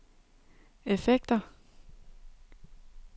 effekter